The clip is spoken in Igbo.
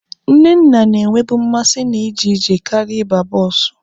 Nnenna na-enwebu mmasị na iji ije karịa ịba bọọsụ.